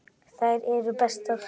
Þær eru bestar.